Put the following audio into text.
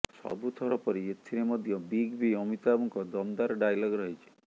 ସବୁଥର ପରି ଏଥିରେ ମଧ୍ୟ ବିଗ ବି ଅମିତାଭଙ୍କ ଦମଦାର ଡାଏଲଗ ରହିଛି